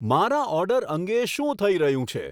મારા ઓર્ડર અંગે શું થઇ રહ્યું છે